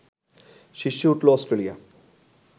শীর্ষে উঠল অস্ট্রেলিয়া